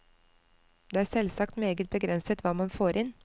Det er selvsagt meget begrenset hva man får inn.